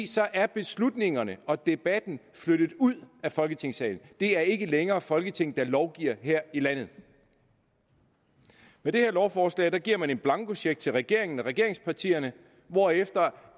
så er beslutningerne og debatten flyttet ud af folketingssalen det er ikke længere folketinget der lovgiver her i landet med det her lovforslag giver man en blankocheck til regeringen og regeringspartierne hvorefter